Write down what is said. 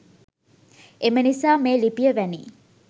එම නිසා මේ ලිපිය වැනි